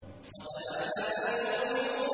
قَدْ أَفْلَحَ الْمُؤْمِنُونَ